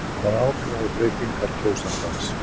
Hvaða áhrif hafa breytingar kjósandans?